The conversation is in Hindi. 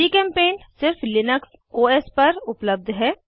जीचेम्पेंट सिर्फ लिनक्स ओएस पर उपलब्ध है